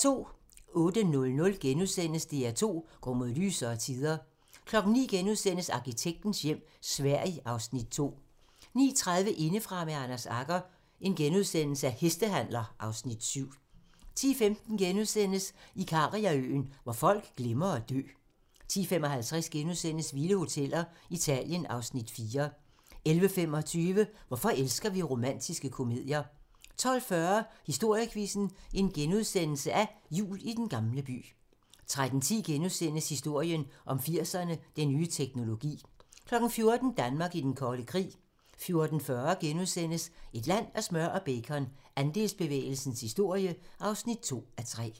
08:00: DR2 går mod lysere tider * 09:00: Arkitektens hjem - Sverige (Afs. 2)* 09:30: Indefra med Anders Agger - Hestehandler (Afs. 7)* 10:15: Ikariaøen - hvor folk glemmer at dø * 10:55: Vilde hoteller - Italien (Afs. 4)* 11:25: Hvorfor elsker vi romantiske komedier? 12:40: Historiequizzen: Jul i Den Gamle By * 13:10: Historien om 80'erne: Den nye teknologi * 14:00: Danmark i den kolde krig 14:40: Et land af smør og bacon - Andelsbevægelsens historie (2:3)*